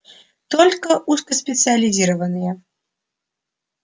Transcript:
только узкоспециализированные